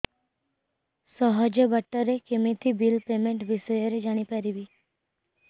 ସହଜ ବାଟ ରେ କେମିତି ବିଲ୍ ପେମେଣ୍ଟ ବିଷୟ ରେ ଜାଣି ପାରିବି